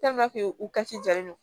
u ka ci jalen don